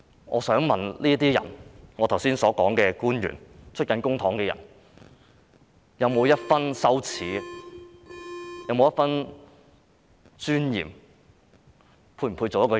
我想問這些人，我剛才提及的官員、領取公帑的人，有沒有一分羞耻、有沒有一分尊嚴，是否配做一個人？